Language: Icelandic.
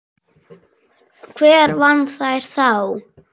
Hver vann þær þá?